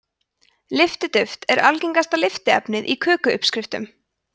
lyftiduft er algengasta lyftiefnið í köku uppskriftum